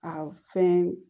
A fɛn